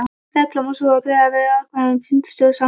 Reglan er sú að greiða verður atkvæði um fundarstjóra samkvæmt